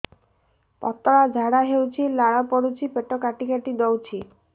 ପତଳା ଝାଡା ହଉଛି ଲାଳ ପଡୁଛି ପେଟ କାଟି କାଟି ଦଉଚି